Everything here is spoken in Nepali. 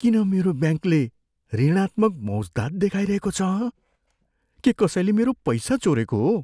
किन मेरो ब्याङ्कले ऋणात्मक मौज्दात देखाइरहेको छ हँ? के कसैले मेरो पैसा चोरेको हो?